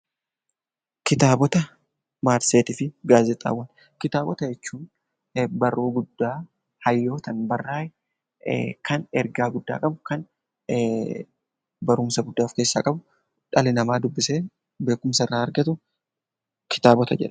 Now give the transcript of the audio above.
Kitaabota jechuun barruulee guddaa hayyootaan barraaye kan ergaa guddaa qabu kan barumsa guddaa of keessaa qabu dhalli namaa dubbisee beekumsa irraa argatu kitaabota jennaan